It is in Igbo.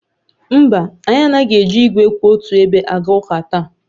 Mba, anyị anaghị eji igwe kwụ otu ebe aga ụka taa